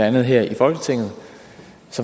andet her i folketinget